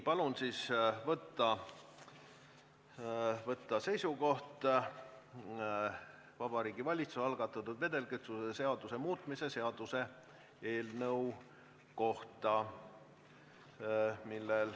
Palun siis võtta seisukoht Vabariigi Valitsuse algatatud vedelkütuse seaduse muutmise seaduse eelnõu kohta.